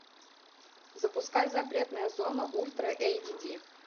запускай запретная зона ультра эйч ди